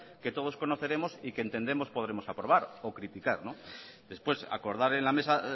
que todos conoceremos y que entendemos podremos aprobar o criticar después acordar en la mesa